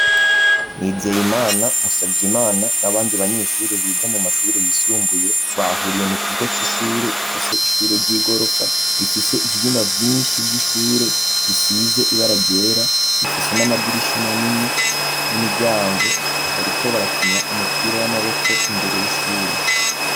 nizeyimana musavyeimana n'abandi banyeshuri biga mu mashure yisumbuye bahuriye mu kigo c'ishure gifise ishure ry'igorofa bifise ivyumba byinshi by'ishure bisize ibaragera bifise n'amadirisha manini n'imiryango bariko barakinya umupira w'amaboko imbere y'ishure